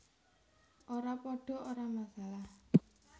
Ora padha ora masalah